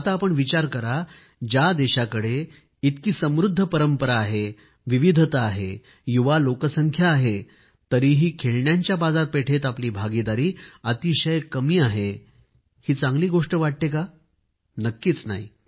आता आपण विचार करा ज्या देशाकडे इतकी समृद्ध परंपरा आहे विविधता आहे युवा लोकसंख्या आहे तरीही खेळण्यांच्या बाजारपेठेत आपली भागीदारी अतिशय कमी आहे ही चांगली गोष्ट वाटते का नक्कीच नाही